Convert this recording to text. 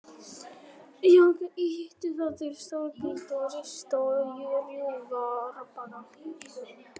Jakar ýta þá til stórgrýti og rista og rjúfa árbakka.